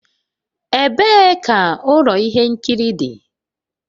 Ebee ka ụlọ ihe nkiri dị.?